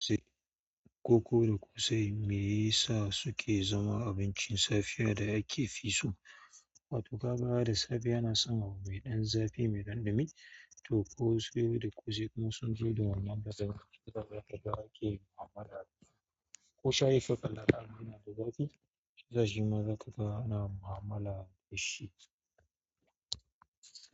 Koko da ƙosai me yasa suke zama abincin safiyar da ake fi so, wato kaga da safe ana samun abu mai ɗan zafi mai ɗanɗimi to ko siyo da ƙosai kuma sun zo da wani ɗan zafi. Wataƙila ake mu'amala da shi. Ko shaifi kalaƙala mai ɗan zafi, zai ji mazaƙa ana mu'amala da shi.